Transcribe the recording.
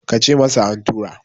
ka ce masa an tura!